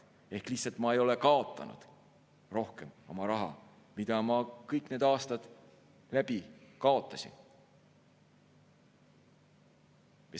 Ehk ma ei ole kaotanud rohkem oma raha, mida ma kõik need aastad kaotasin.